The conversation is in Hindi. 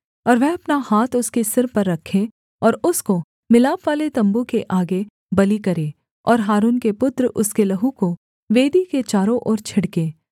और वह अपना हाथ उसके सिर पर रखे और उसको मिलापवाले तम्बू के आगे बलि करे और हारून के पुत्र उसके लहू को वेदी के चारों ओर छिड़के